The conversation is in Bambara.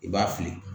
I b'a fili